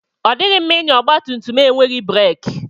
Ọ dịghị mma mmadụ ịnya ọgba tum tum enweghị breki.